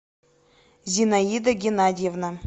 зинаида геннадьевна